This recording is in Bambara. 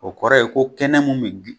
O kɔrɔ ye ko kɛnɛ mun bi